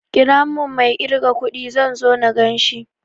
Ƙira mun mai ƙirga kudin, zan so na ganshi